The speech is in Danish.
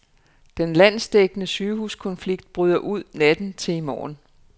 Den landsdækkende sygehuskonflikt bryder ud natten til i morgen.